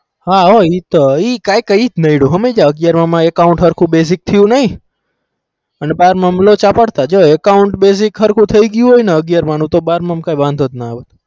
હ એ હો account હરખું basic થયું નઈ એમાં લોચા પડતા account basic થયું નઈ અગ્યાર mam થઇ ગયું હોય્બ તો બાર માં મ લોચા ન પદ